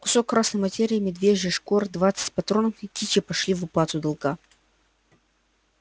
кусок красной материи медвежья шкура двадцать патронов и кичи пошли в уплату долга